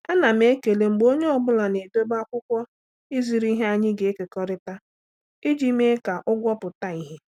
Ana m ekele mgbe onye ọ bụla na-edobe akwụkwọ ịzụrụ ihe anyị na-ekekọrịta iji mee ka ụgwọ pụta ìhè.